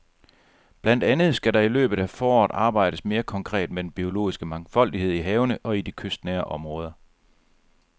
Blandt andet skal der i løbet af foråret arbejdes mere konkret med den biologiske mangfoldighed i havene og i de kystnære områder.